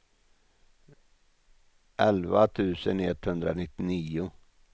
elva tusen etthundranittionio